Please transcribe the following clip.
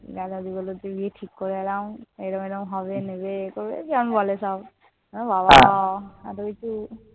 দাদা দিয়ে বলল সব ঠিক করে এলাম। এরম এরম হবে, নেবে- যেমন বলে সব। বাবা এত কিছু